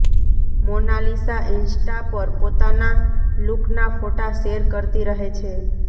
Monalisa Insta પર પોતાના લુકના ફોટા શેર કરતી રહે છે